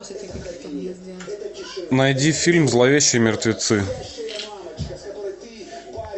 найди фильм зловещие мертвецы